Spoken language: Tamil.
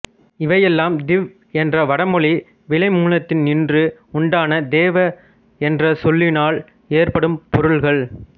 இவையெல்லாம் திவ் என்ற வடமொழி வினைமூலத்தினின்று உண்டான தேவ என்ற சொல்லினால் ஏற்படும் பொருள்கள்